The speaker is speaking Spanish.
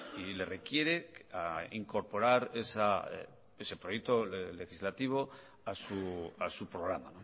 y le requiere a incorporar ese proyecto legislativo a su programa